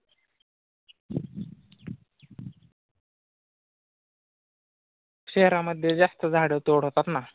शहरामध्ये जास्त झाडं तोडतात ना?